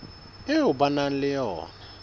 eo ba nang le yona